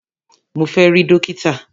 Mo fẹ́ rí dókítà!